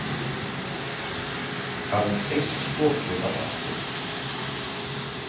Aðeins einn sopi var eftir.